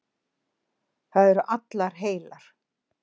Það eru allar heilar.